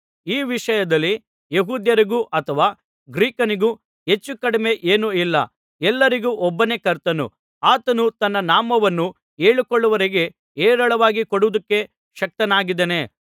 ಈ ವಿಷಯದಲ್ಲಿ ಯೆಹೂದ್ಯರಿಗೂ ಅಥವಾ ಗ್ರೀಕನಿಗೂ ಹೆಚ್ಚು ಕಡಿಮೆ ಏನೂ ಇಲ್ಲ ಎಲ್ಲರಿಗೂ ಒಬ್ಬನೇ ಕರ್ತನು ಆತನು ತನ್ನ ನಾಮವನ್ನು ಹೇಳಿಕೊಳ್ಳುವವರಿಗೆ ಹೇರಳವಾಗಿ ಕೊಡುವುದಕ್ಕೆ ಶಕ್ತನಾಗಿದ್ದಾನೆ